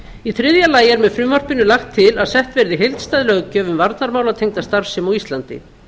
í þriðja lagi er með frumvarpinu lagt til að sett verði heildstæð löggjöf um varnarmálatengda starfsemi á íslandi